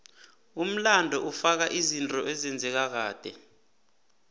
umlando ufaka izinto ezenzeka kade